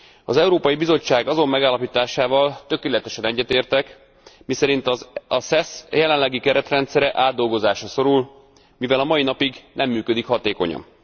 Az Európai Bizottság azon megállapításával tökéletesen egyetértek, miszerint a SES jelenlegi keretrendszere átdolgozásra szorul, mivel a mai napig nem működik hatékonyan.